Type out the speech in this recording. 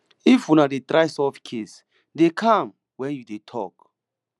if una dey try solve case dey calm when you dey talk